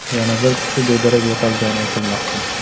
Yana bir kishi bedarak yo‘qolgani aytilmoqda.